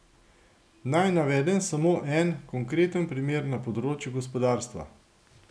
Naj navedem samo en konkreten primer na področju gospodarstva.